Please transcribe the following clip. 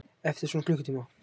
Eftir svona klukkutíma.